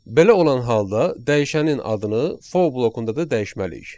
Belə olan halda dəyişənin adını for blokunda da dəyişməliyik.